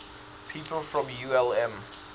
people from ulm